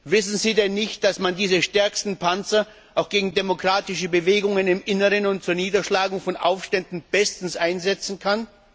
Wissen Sie denn nicht, dass man diese stärksten Panzer auch gegen demokratische Bewegungen im Inneren und zur Niederschlagung von Aufständen bestens einsetzen kann?